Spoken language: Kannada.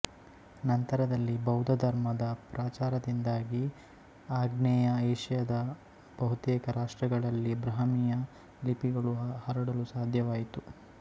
ನಂತರದಲ್ಲಿ ಬೌದ್ಧಧರ್ಮದ ಪ್ರಚಾರದಿಂದಾಗಿ ಆಗ್ನೇಯ ಏಷ್ಯಾದ ಬಹುತೇಕ ರಾಷ್ಟ್ರಗಳಲ್ಲಿ ಬ್ರಾಹ್ಮೀಯ ಲಿಪಿಗಳು ಹರಡಲು ಸಾಧ್ಯವಾಯಿತು